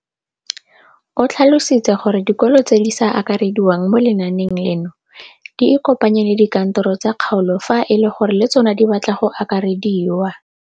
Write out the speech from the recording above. O tlhalositse gore dikolo tse di sa akarediwang mo lenaaneng leno di ikopanye le dikantoro tsa kgaolo fa e le gore le tsona di batla go akarediwa.